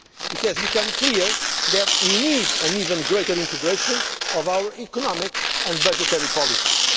time. It has become clear that we need an even greater integration of our economic and budgetary policies.